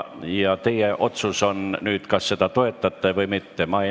Ja teie otsustada on nüüd, kas seda toetate või mitte.